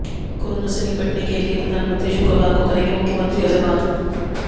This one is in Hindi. कोरोना से निपटने के लिए प्रधानमंत्री शुक्रवार को करेंगे मुख्यमंत्रियों से बात